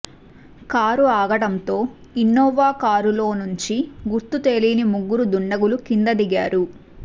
car ఆగడంతో Innova కారులో నుంచి గుర్తుతెలియని ముగ్గురు దుండగులు కింద దిగారు